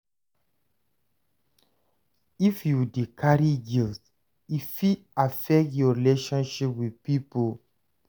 If you dey carry guilt, e fit affect your relationship wit pipo.